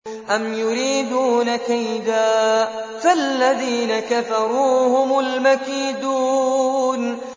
أَمْ يُرِيدُونَ كَيْدًا ۖ فَالَّذِينَ كَفَرُوا هُمُ الْمَكِيدُونَ